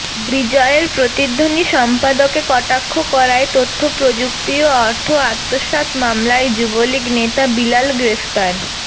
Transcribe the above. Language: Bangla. বিজয়ের প্রতিধ্বনি সম্পাদকে কটাক্ষ করায় তথ্য প্রযুক্তি ও অর্থ আত্মসাৎ মামলায় যুবলীগ নেতা বিলাল গ্রেফতার